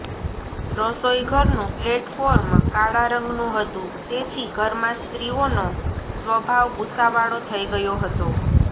રસોઈ ઘરનું પ્લેટફોર્મ કાળા રંગનું હતું તેથી ઘરમાં સ્ત્રીઓનો સ્વભાવ ગુસ્સા વાળો થઇ ગયો હતો